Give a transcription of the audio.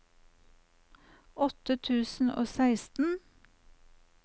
åtte tusen og seksten